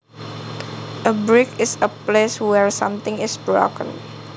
A break is a place where something is broken